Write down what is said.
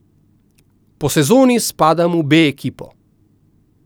Po sezoni spadam v B ekipo.